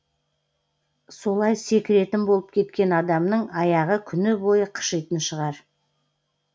солай секіретін болып кеткен адамның аяғы күні бойы қышитын шығар